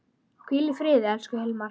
Hvíl í friði, elsku Hilmar.